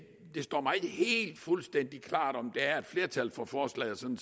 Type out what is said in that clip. det står mig ikke helt fuldstændig klart om der er et flertal for forslaget som